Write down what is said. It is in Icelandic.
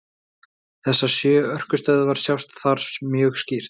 Þessar sjö orkustöðvar sjást þar mjög skýrt.